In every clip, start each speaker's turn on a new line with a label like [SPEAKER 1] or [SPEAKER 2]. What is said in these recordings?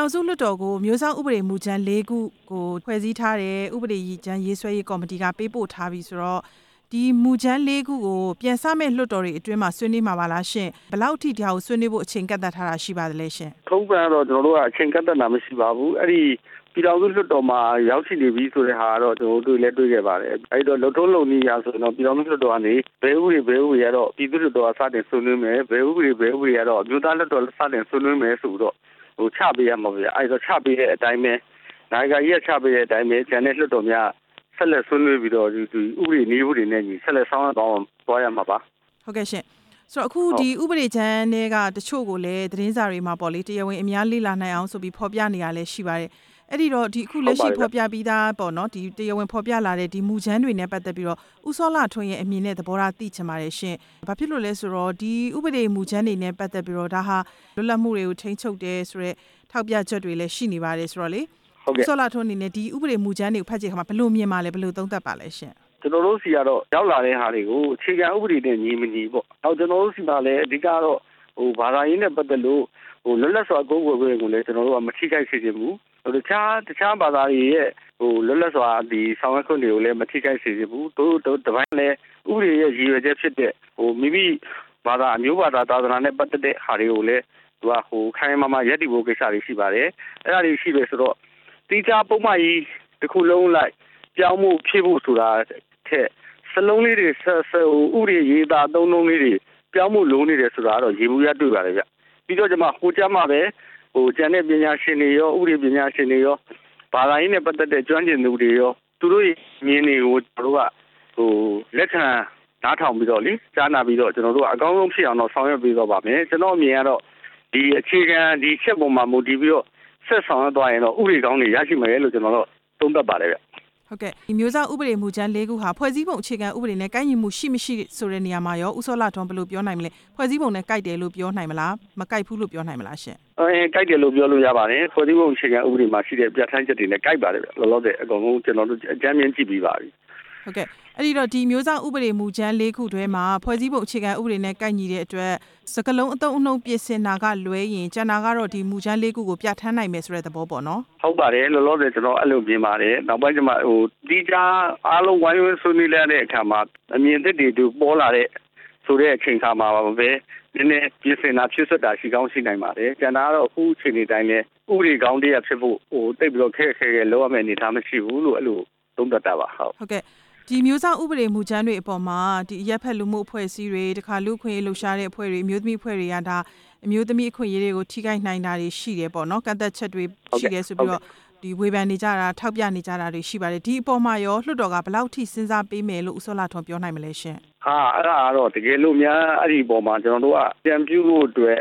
[SPEAKER 1] ောင်စုလွှတ်တော်ကို မျိုးစောင့်ဥပဒေမူကြမ်း ၄ ခုကို ဖွဲ့စည်းထားတဲ့ ဥပဒေမူကြမ်းရေးဆွဲရေး ကော်မတီက ပေးပို့ထားပြီဆိုတော့ ဒီမူကြမ်း ၄ ခုကို ပြန်စမယ့် လွှတ်တော်တွေအတွင်းမှာ ဆွေးနွေးမှာပါလားရှင့်၊ ဘယ်လောက်ထိ ဒါကိုဆွေးနွေးဖို့ အချိန်ကန့်သတ်ထားတာများ ရှိလားရှင့်၊
[SPEAKER 2] ထုံးစံကတော့ ကျနော်တို့က အချိန်ကန့်သတ်ထားတာမရှိပါဘူး၊ အဲ့ဒီပြည်ထောင်စုလွှတ်တော်မှာ ရောက်ရှိနေပြီဆိုတဲ့ ဟာကတော့ ကျနော်တို့ တွေ့လဲတွေ့ခဲ့ပါတယ်၊ အဲ့တော့ လုပ်ထုံးလုပ်နည်းအရဆိုရင်တော့ ပြည်ထောင်စုလွှတ်တော်ကနေ ဘယ်ဥပဒေ၊ ဘယ်ဥပဒေကတော့ ပြည်သူ့ လွှတ်တော်က စပြီးဆွေးနွေးမယ်၊ ဘယ်ဥပဒေ၊ ဘယ်ဥပဒေကတော့ အမျိုးသားလွှတ်တော်က စတင်ဆွေးနွေးမယ် ဆိုပြးီချပေးရမှာပေါ့ဗျ၊ အဲ့တော့ချပေးတဲ့ အတိုင်းပဲ နာယကကြီးက ချပေးတဲ့အတိုင်း ကျန်တဲ့လွှတ်တော်များက ဆက်လက်ဆွေးနွေးပြီးတော့ ဒီဥပဒေ၊ နည်းဥပဒေနဲ့အညီ ဆက်လက်ဆောင်ရွက် သွားရမှာပါ၊
[SPEAKER 1] ဟုတ်ကဲ့ရှင့်၊ ဒီဥပဒေကြမ်းထဲက တစ်ချို့ကိုလဲ သတင်းစာထဲမှာပေါ့လေတရားဝင်အများလေ့လာနိုင်အောင်ဆိုပြီး ဖော်ပြနေတာလဲရှိပါတယ်၊ အဲ့တော့ လက်ရှိဖော်ပြပြီးသားပေါ့နော်၊ တရားဝင်ဖော်ပြလာတဲ့ ဒီမူကြမ်းတွေ နဲ့ပတ်သက်ပြီး ဦးစောလှထွန်းရဲ့ အမြင် နဲ့သဘောထား သိချင်ပါတယ်ရှင့်၊ ဘာဖြစ်လို့လဲဆိုတော့ ဒီဥပဒေမူကြမ်းတွေ နဲ့ပတ်သက်ပြီး ဒါဟာလွတ်လပ်မှုတွေကို ထိန်းချုပ်တယ်ဆိုတဲ့ ထောက်ပြချက်တွေလဲရှိနေပါတယ်ဆိုတော့လေ ဦးစောလှထွန်းအနေနဲ့ ဒီဥပဒေမူကြမ်းတွေကို ဖတ်ကြည့်တဲ့ အခါမှာ ဘယ်လိုမြင်လဲ၊ ဘယ်လိုသုံးသပ်ပါလဲရှင့်
[SPEAKER 2] ကျနော်တို့ ဆီကတော့ရောက်လာတဲ့ ဟာတွေကို အခြေခံဥပဒေ နဲ့ညီမညီပေါ့၊ နောက်ကျနော်တို့ဆီမှာလဲ အဓိက ကတော့ဘာသာရေး နဲပတ်သက်လို့ လွတ်လပ်စွာ ကိုးကွယ်ခွင့်ကိုလဲ ကျနော်တို့က မထိခိုက်စေချင်ဘူး၊ နောက်တခြားဘာသာတွေရဲ့ လွတ်လပ်စွာ ဆောင်ရွက်ခွင့်ကိုလဲ မထိခိုက်စေချင်ဘူး၊ နောက်တစ်ပိုင်းလဲ ဥပဒေရဲ့ ရည်ရွယ်ချက်ဖြစ်တဲ့ မိမိဘာသာ အမျိုးဘာသာ၊ သာသနာ နဲ့ပတ်သက်တဲ့ဟာတွေကိုလဲ ခိုင်ခိုင်မာမာရပ်တည်ဖို့ ကိစ္စတွေရှိပါတယ်၊ အဲ့ဒါတွေရှိတယ်ဆိုတော့ သီးခြားပုဒ်မကြီးတစ်ခုလုံး အလိုက် ပြောင်းဖို့ဖြည့်ဖို့ဆိုတာထက် စာလုံးလေးတွေ၊ ဥပဒေအရေးအသား အသုံးအနှုန်းလေးတွေ ပြောင်းဖို့လိုနေတယ်ဆိုတာတော့ ယေဘုယျတွေ့ပါတယ်ဗျ၊ ပြီးတော့မှ ဟိုကြမှဘဲ ပညာရှင်တွေရော၊ ဥပဒေပညာရှင်တွေရော၊ ဘာသာရေးနဲ့ ပတ်သက်တဲ့ ကျွမ်းကျင်သူတွေရော၊ သူတို့အမြင်တွေကို ကျနော်တို့က လက်ခံနားထောင်ပြီးတော့လေ ကြားနာပြီးတော့မှ ကျနော်တို့က အကောင်းဆုံး ဖြစ်အောင်တော့ ဆောင်ရွက်ပေးသွားပါမယ်၊ ကျနော်အမြင်ကတော့ အခြေခံ ဒီအချက်မှာ မူတည်ပြီးတော့ ဆက်ဆောင်ရွက်သွားရင်တော့ ဥပဒေကောင်းတွေရရှိမယ်လို့ ကျနော်တော့ သုံးသပ်ပါတယ်
[SPEAKER 1] ဟုတ်ကဲ့ ဒီအမျိုးသားဥပဒေမူကြမ်း ၄ ခုဟာ ဖွဲ့စည်းပုံအခြေခံ နဲ့ကိုက်ညီမှု ရှိ၊ မရှိဆိုတာမှာရော ဦးစောလှထွန်းအနေ နဲ့ကိုက်ညီတယ် လို့ပြောနိုင်မလား၊ မကိုက်ဘူးလို့ပြောနိုင်မလားရှင့်
[SPEAKER 2] ကိုက်တယ်လို့ပြောလို့ရပါတယ်၊ ဖွဲ့စည်းပုံအခြေခံ ဥပဒေမှာပါရှိတဲ့ ပြဌာန်းချက်တွေ နဲ့ကိုက်ပါတယ်ဗျ၊ လောလောဆယ် အကုန်လုံး ကျနော်တို့ အကြမ်းမျဉ်းကြည့်ပြီးပါပြီ
[SPEAKER 1] ဟုတ်ကဲ့ရှင့်၊ ဒီမျိုးစောင့်ဥပဒေ မူကြမ်း ၄ ခုထဲမှာ ဖွဲ့စည်းပုံအခြေခံဥပဒေ နဲ့ကိုက်ညီတဲ့အတွက် စကားလုံးအသုံးအနှုန်းပြင်ဆင်တာကလွဲရင် ကျန်တာကတော့ ဒီမူကြမ်း ၄ ခုကို ပြဌာန်းနိုင်မယ်ဆိုတဲ့ သဘောပေါ့နော်
[SPEAKER 2] ဟုတ်ပါတယ်၊ လောလောဆယ် ကျနော်အဲ့လိုမြင်ပါတယ်၊ နောက်ပိုင်း သီးခြားအားလုံးဝိုင်းဆွေးနွေးကြတဲ့ အခါမှာ အမြင်သစ်တွေပေါ်လာ တဲ့ အချိန်မှာပဲ နဲနဲပြင်ဆင်တာ၊ ဖြည့်စွက်တာရှိကောင်းရှိနိုင်ပါတယ်၊ ကျန်တာကတော့ အခုအခြေအနေတိုင်းပဲ ဥပဒေကောင်းတစ်ရပ်ဖြစ်ဖို့ သိပ်ပြီးတော့ ခက်ခက်ခဲခဲလုပ်ရမယ့် အနေအထားမရှိဘူးလို့ သုံးသပ်တာပါ၊
[SPEAKER 1] ဒီအမျိုးစောင့် ဥပဒေမူကြမ်းတွေအပေါ်မှာ ဒီအရပ်ဖက်လူမှုအဖွဲ့အစည်းတွေ၊ လူ့အခွင့်အရေးလှုပ်ရှားတဲ့ အဖွဲ့တွေ၊ အမျိုးသမီးအဖွဲ့တွေက ဒါအမျိုးသမီး အခွင့်အရေးတွေကို ထိခိုက်နိုင်တာတွေရှိတယ်ပေါ့နော်၊ ကန့်သတ်ချက်တွေရှိတယ် ဆိုပြီးတော့ဒီဝေဖန်နေ ကြတာ၊ ထောက်ပြနေကြ တာတွေရှိပါတယ်၊ အဲ့ဒီအပေါ်မှာရော လွှတ်တော်က ဘယ်လောက်ထိစဉ်းစားပေးနိုင်မယ်ဆိုတာ ဦးစောလှထွန်းအနေ နဲ့ပြောနိုင်လဲရှင့်
[SPEAKER 2] ဟာ၊ အဲ့ဒါကတော့ တစ်ကယ်လို့များအဲ့ အပေါ်မှာ ကျနော်တို့က ပြန်ပြုဖို့ အတွက်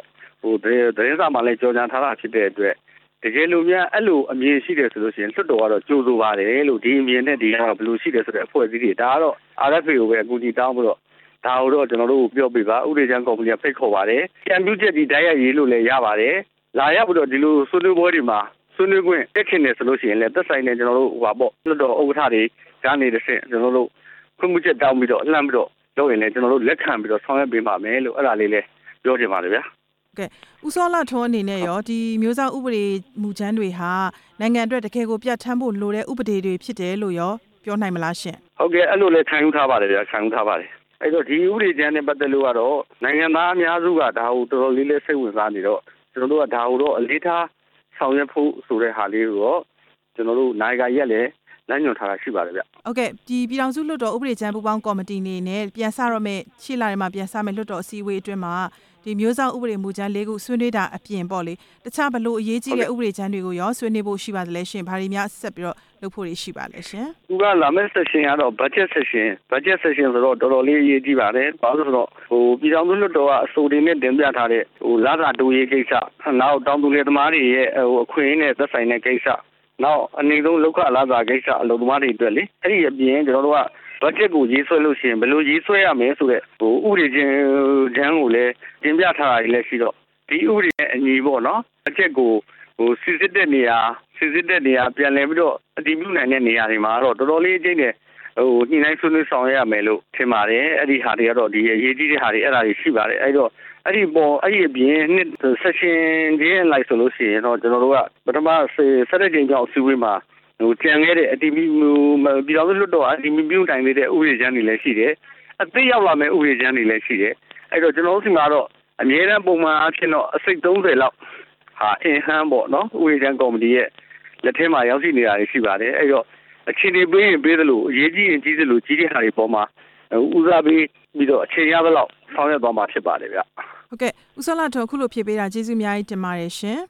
[SPEAKER 2] သတင်းစာထဲမှာလဲ ကြေညာထားတာဖြစ်တဲ့အတွက် တစ်ကယ်လို့များအဲ့လို အမြင်ရှိတယ်ဆိုရင် လွှတ်တော်ကတော့ ကြိုဆိုပါတယ်လို့၊ ဒီအမြင် နဲ့ဒီလမ်းဟာဘယ်လိုရှိတယ်ဆိုတဲ့ အဖွဲ့အစည်းတွေ RFA ကိုပဲအကူအညီတောင်းပြီးတော့ ဒါကိုတော့ကျနော်တို့ကိုပြောပေးပါ၊ ဖိတ်ခေါ်ပါတယ်၊ အကြံပြုချက်တွေလဲ တိုက်ရိုက်ရေးနိုင်ပါတယ်၊ လာရောက် ပြီးတော့ ဆွေးနွေးပွဲတွေမှာ ဆွေးနွေးခွင့် တက်ချင်ဆိုရင်လဲ သက်ဆိုင်တဲ့ လွှတ်တော်ဥက္ကဌတွေကနေတဆင့် ခွင့်ပြုချက်တောင်းပြီးတော့ လှမ်းပြီးတော့ လုပ်ရင်လဲ ကျနော်တို့ လက်ခံပြီးဆောင်ရွက်ပေးသွားမယ်လို့ အဲ့ဒါလေးလဲပြောချင်ပါတယ်ဗျာ
[SPEAKER 1] ဟုတ်ကဲ့ ဦးစောလှထွန်းအနေ နဲ့ရော ဒီအမျိုးစောင့် ဥပဒေမူကြမ်းတွေဟာ နိုင်ငံအတွက် တစ်ကယ်ကိုပြဌာန်းဖို့ လိုတဲ့ ဥပဒေတွေဖြစ်တယ်လို့ရော ပြောနိုင်မလားရှင့်
[SPEAKER 2] ဟုတ်ကဲ့ဗျ၊ အဲ့လိုလဲခံယူထားပါတယ်၊ ခံယူထားပါတယ်၊ အဲ့တော့ ဒီဥပဒေကြမ်း နဲ့ပတ်သက်လို့ကတော့ နိုင်ငံသားအများစုက ဒါကိုစိတ်ဝင်စားနေတော့ ကျနော်တို့က ဒါကိုအလေးထားဆောင်ရွက်ဖို့ဆိုတဲ့ ဟာလေးကိုတော့ ကျနော်တို့ကို နာယကကြီးက လမ်းညွှန်ထားပါတယ်၊
[SPEAKER 1] ဟုတ်ကဲ့ပြည်ထောင်စု လွှတ်တော်ဥပဒေကြမ်း ပူးပေါင်းကော်မတီအနေ နဲ့ရှေ့လထဲမှာ ပြန်စတော့မယ့် လွှတ်တော် အစည်းအဝေး အတွင်းမှာ ဒီမျိုးစောင့်ဥပဒေ မူကြမ်း ၄ ခုဆွေးနွေးတာ အပြင်ပေါ့လေ တစ်ခြားဘယ်လိုအရေးကြီးတဲ့ ဥပဒေကြမ်းတွေကိုရော ဆွေးနွေးဖို့ရှိလဲရှင့်၊ ဘာတွေများ ဆက်ပြီးတော့ လုပ်ဖို့တွေရှိပါလဲရှင်၊
[SPEAKER 2] သူကလာမယ့် အခန်းကတော့ ဘက်ဂျက်အခန်းဆိုတော့ တော်တော်လေးအရေးကြီးပါတယ်၊ ပြည်ထောင်စုလွှတ်တော်က အဆို တင်ပြထားတဲ့ လစာတိုးရေးကိစ္စ၊ နောက်တောင်သူလယ်သမားတွေရဲ့ အခွင့်အရေးတွေ နဲ့သက်ဆိုင်တဲ့ကိစ္စ၊ နောက်အနိမ့်ဆုံးလုပ်ခလစာ ကိစ္စ အလုပ် သမားတွေအတွက်လေ၊ အဲ့ဒီအပြင် ကျနော်တို့က ဘက်ဂျက်ကိုရေးဆွဲရင် ဘယ်လိုရေးဆွဲရမယ်ဆိုတဲ့ ဥပဒေကြမ်းကိုလဲ တင်ပြထားတာလဲရှိတော့ ဒီဥပဒေ နဲ့အညီပေါ့နော်၊ ဘက်ဂျက်ကို စီစစ်တဲ့နေရာ၊ ပြန်လည်ပြီးတော့ အတည်ပြုနိုင်တဲ့ နေရာတွေမှာတော့ တော်တော်လေးအကျိပ်အနယ် ညှိုနှိုင်းဆွေးနွေးဆောင် ရွက် ရမယ်လို့ထင်ပါတယ်၊ အဲ့ဒီဟာတွေကတော့ အရေးကြီးပါတယ်၊ အဲ့ဒီအပြင် ပထမအကြိမ် ၁၁ ကြိမ်မြောက်အစည်းအဝေးမှာ ကျန်ခဲ့တဲ့ ပြည်ထောင်စု လွှတ်တော်က အတည်မပြုနိုင်သေးတဲ့ ဥပဒေကြမ်းတွေလဲရှိတယ်၊ အသစ်ရောက်လာမယ့် ဥပဒေကြမ်းတွေလဲရှိတယ်၊ အဲ့တော့ကျနော်တို့ဆီမှာတော့ အမြဲတမ်း ပုံမှန်အားဖြင့်တော့ အစိတ်၊ သုံးဆယ်လောက် ဥပဒေကြမ်းကော်မတီရဲ့ လက်ထဲမှာရောက်ရှိ နေတာရှိပါတယ်၊ အဲ့တော့ အခြအနေပေးရင်ပေးသလို၊ အရေး ကြီးရင်ကြီးသလို ဦးစားပေးပြီးတော့ အချိန်ရသလောက် ဆောင်ရွက်သွားမှာ ဖြစ်ပါတယ်ဗျ
[SPEAKER 1] ဟုတ်ကဲ့ ဦးစောလှထွန်းအခုလို ဖြေပေးတာကျေးဇူးအများကြီးတင်ပါတယ်ရှင်